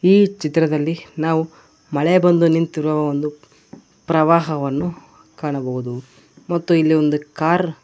ಈ ಚಿತ್ರದಲ್ಲಿ ನಾವು ಮಳೆ ಬಂದು ನಿಂತಿರುವ ಒಂದು ಪ್ರವಾಹವನ್ನು ಕಾಣಬಹುದು ಮತ್ತು ಇಲ್ಲಿ ಒಂದು ಕಾರ್ --